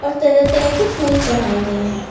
तरह तरह के फूल चढ़ाए गए हैं।